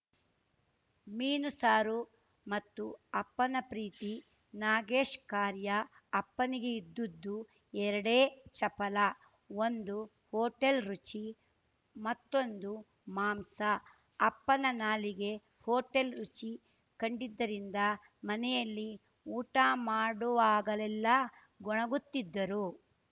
ಮೀನು ಸಾರು ಮತ್ತು ಅಪ್ಪನ ಪ್ರೀತಿ ನಾಗೇಶ್ ಕಾರ್ಯ ಅಪ್ಪನಿಗೆ ಇದ್ದದ್ದು ಎರಡೇ ಚಪಲ ಒಂದು ಹೋಟೆಲ್‌ ರುಚಿ ಮತ್ತೊಂದು ಮಾಂಸ ಅಪ್ಪನ ನಾಲಿಗೆ ಹೋಟೆಲ್‌ ರುಚಿ ಕಂಡಿದ್ದರಿಂದ ಮನೆಯಲ್ಲಿ ಊಟ ಮಾಡುವಾಗಲೆಲ್ಲ ಗೊಣಗುತ್ತಿದ್ದರು